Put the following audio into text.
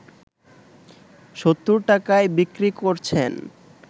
৭০ টাকায় বিক্রি করছেন